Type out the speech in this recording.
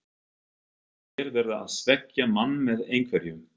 Þeir verða að svekkja mann með einhverju.